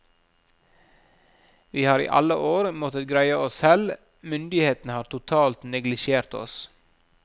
Vi har i alle år måttet greie oss selv, myndighetene har totalt neglisjert oss.